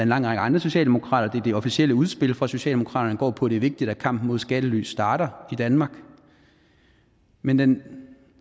lang række andre socialdemokrater der det officielle udspil fra socialdemokratiet går på at det er vigtigt at kampen mod skattely starter i danmark men den